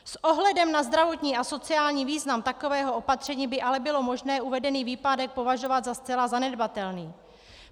S ohledem na zdravotní a sociální význam takového opatření by ale bylo možné uvedený výpadek považovat za zcela zanedbatelný.